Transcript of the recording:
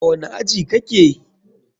A wani aji kake?